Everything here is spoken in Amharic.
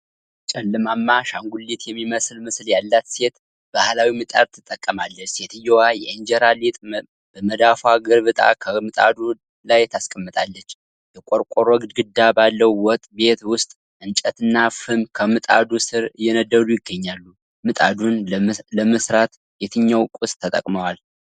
ጨለማማ አሻንጉሊት የሚመስል ምስል ያላት ሴት ባህላዊ ምጣድ ትጠቀማለች። ሴትየዋ የኢንጀራን ሊጥ በመዳፏ ገልብጣ ከምጣዱ ላይ ታስቀምጣለች። የቆርቆሮ ግድግዳ ባለው ወጥ ቤት ውስጥ እንጨትና ፍም ከምጣዱ ስር እየነደዱ ይገኛሉ። ምጣዱን ለመሥራት የትኛው ቁስ ተጠቅመዋል?